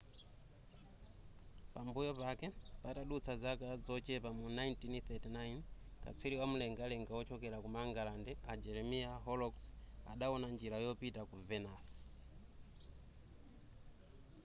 pambuyo pake patadutsa zaka zochepa mu 1639 katswiri wamlengalenga wochokera ku mangalande a jeremiah horrocks adawona njira yopita ku venus